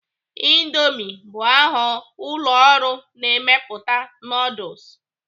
Indoomi bụ aha ụlọ ọrụ na-emepụta nuduls.